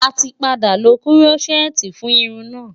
A ti padà lo Kúrọ́ṣẹ́ẹ́tì fún irun náà.